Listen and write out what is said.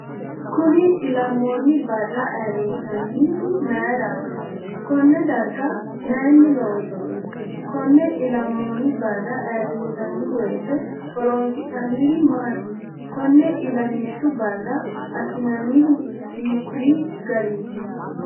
Kunni ilamoonni Barra ayiirisanihu mayiirati.? Konne dariga mayiini loonsoni.? Konne ilamoonni Barra ayiirisaniwoyite horonisinanirri maati.? Konne illamishshu Barra assinanihu hiikiyi gariti.?